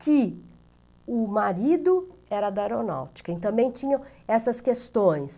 que o marido era da aeronáutica e também tinham essas questões.